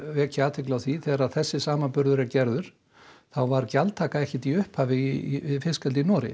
vekja athygli á því þegar þessi samanburður er gerður þá var gjaldtaka ekkert í upphafi við fiskeldi í Noregi